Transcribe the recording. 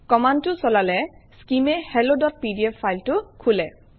কমাণ্ডটো চলালে skim এ helloপিডিএফ ফাইলটো খোলে